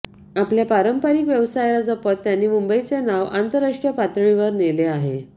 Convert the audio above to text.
आपल्या पारंपारिक व्यवसायाला जपत त्यांनी मुंबईचे नाव आंतरराष्ट्रीय पातळीवर नेले आहे